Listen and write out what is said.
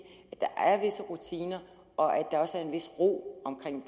at der er visse rutiner og at der også er en vis ro omkring